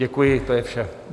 Děkuji, to je vše.